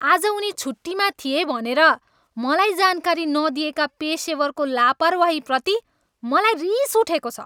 आज उनी छुट्टीमा थिए भनेर मलाई जानकारी नदिएका पेसेवरको लापरवाहीप्रति मलाई रिस उठेको छ।